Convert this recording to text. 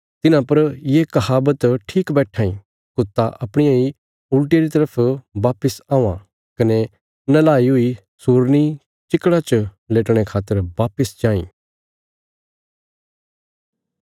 तिन्हां पर ये कहावत ठीक बैट्ठां इ कुत्ता अपणिया इ उल्टिया री तरफ वापस औआं कने नैहलाई हुई सूरनी चीकड़ा च लेटणे खातर वापस जांई